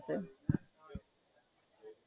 અચ્છા, હાં. એટલે તે એ બાજુનું બઉ ઓછું જોયું હશે.